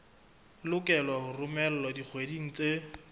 lokelwa ho romelwa dikgweding tse